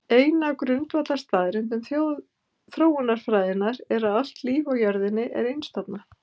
Ein af grundvallarstaðreyndum þróunarfræðinnar er að allt líf á jörðinni er einstofna.